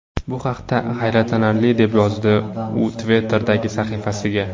Bu haqiqatda hayratlanarli!” deb yozdi u Twitter’dagi sahifasiga.